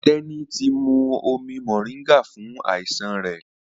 Teni tí mú omí moringa fún àìsàn rẹ.